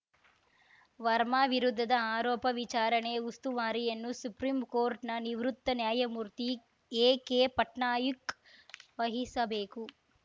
ವರ್ಮಾ ವಿರುದ್ಧದ ಆರೋಪ ವಿಚಾರಣೆ ಉಸ್ತುವಾರಿಯನ್ನು ಸುಪ್ರೀಂಕೋರ್ಟ್‌ನ ನಿವೃತ್ತ ನ್ಯಾಯಮೂರ್ತಿ ಎಕೆಪಟ್ನಾಯಕ್‌ ವಹಿಸಬೇಕು